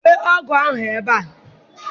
Dowe ọgụ ahụ ebe a!